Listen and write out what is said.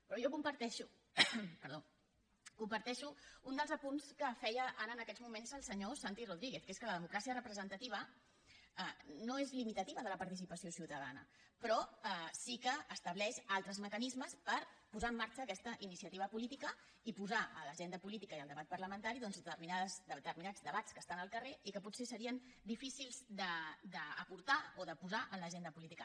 però jo comparteixo un dels apunts que feia ara en aquests moments el senyor santi rodríguez que és que la democràcia representativa no és limitativa de la participació ciutadana però sí que estableix altres mecanismes per posar en marxa aquesta iniciativa política i posar a l’agenda política i al debat parlamentari determinats debats que estan al carrer i que potser serien difícils d’aportar o de posar en l’agenda política